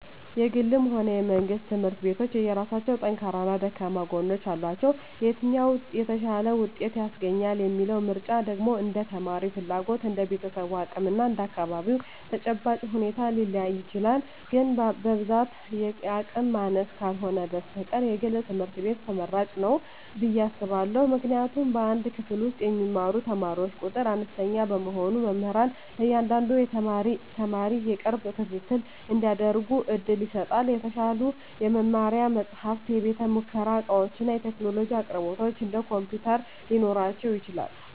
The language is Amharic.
የግልም ሆነ የመንግሥት ትምህርት ቤቶች የየራሳቸው ጠንካራና ደካማ ጎኖች አሏቸው። የትኛው "የተሻለ ውጤት" ያስገኛል የሚለው ምርጫ ደግሞ እንደ ተማሪው ፍላጎት፣ እንደ ቤተሰቡ አቅም እና እንደ አካባቢው ተጨባጭ ሁኔታ ሊለያይ ይችላል። ግን በብዛት የአቅም ማነስ ካልህነ በስተቀር የግል ትምህርት ቤት ትመራጭ ንው ብየ አስባእሁ። ምክንያቱም በአንድ ክፍል ውስጥ የሚማሩ ተማሪዎች ቁጥር አነስተኛ በመሆኑ መምህራን ለእያንዳንዱ ተማሪ የቅርብ ክትትል እንዲያደርጉ ዕድል ይሰጣል። የተሻሉ የመማሪያ መጻሕፍት፣ የቤተ-ሙከራ ዕቃዎችና የቴክኖሎጂ አቅርቦቶች (እንደ ኮምፒውተር) ሊኖራቸው ይችላል።